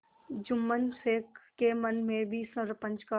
जुम्मन शेख के मन में भी सरपंच का